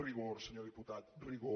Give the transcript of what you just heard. rigor senyor diputat rigor